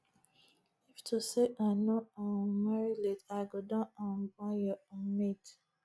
if to say i no um marry late i go don um born your um mate